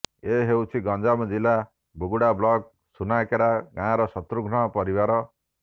ଏ ହେଉଛି ଗଞ୍ଜାମ ଜିଲ୍ଲା ବୁଗୁଡା ବ୍ଲକର ସୁନାକେରା ଗାଁର ଶତ୍ରୁଘ୍ନଙ୍କ ପରିବାର